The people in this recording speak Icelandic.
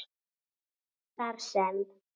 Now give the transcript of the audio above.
Þar sem